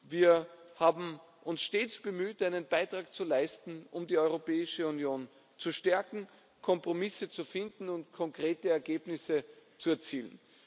Wir haben uns stets bemüht, einen Beitrag zu leisten, um die Europäische Union zu stärken, Kompromisse zu finden und konkrete Ergebnisse zu erzielen.